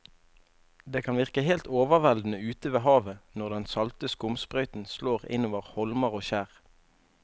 Det kan virke helt overveldende ute ved havet når den salte skumsprøyten slår innover holmer og skjær.